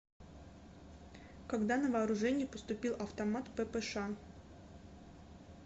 когда на вооружение поступил автомат ппш